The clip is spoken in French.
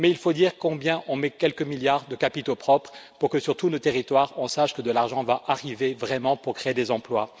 Mais il faut dire combien on met de milliards de capitaux propres pour que, sur tous nos territoires, on sache que de l'argent va arriver vraiment pour créer des emplois.